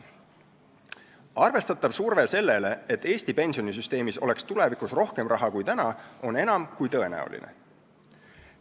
Arvestatav surve sellele, et Eesti pensionisüsteemis oleks tulevikus raha rohkem kui praegu, on enam kui tõenäoline.